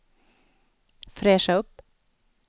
fräscha upp